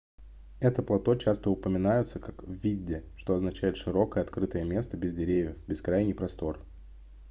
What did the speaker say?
эти плато часто упоминаются как vidde что означает широкое открытое место без деревьев бескрайний простор